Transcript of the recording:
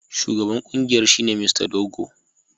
Shugaban kungiyar shine Mr Dogo.